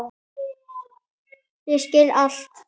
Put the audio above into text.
Ég skil allt!